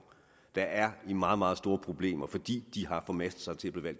der er i meget meget store problemer fordi de har formastet sig til